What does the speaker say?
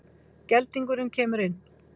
Geldingurinn kemur inn.